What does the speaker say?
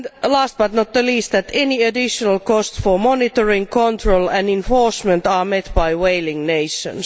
and, last but not least, that any additional cost for monitoring, control and enhancement are met by whaling nations.